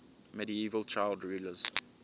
medieval child rulers